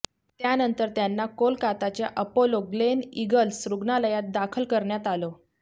त्यानंतर त्यांना कोलकाताच्या अपोलो ग्लेनईगल्स रुग्णालयात दाखल करण्यात आलं